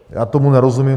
Já tomu nerozumím.